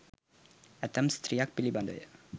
ඇතැම් ස්ත්‍රියක් පිළිබඳව ය.